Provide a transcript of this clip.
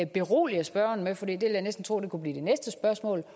berolige spørgeren med for det vil jeg næsten tro kunne blive det næste spørgsmål